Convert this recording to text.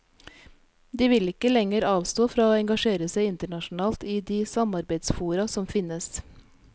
De vil ikke lenger avstå fra å engasjere seg internasjonalt, i de samarbeidsfora som finnes.